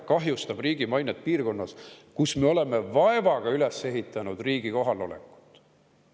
Kahjustab riigi mainet piirkonnas, kus me oleme vaevaga üles ehitanud riigi kohalolekut.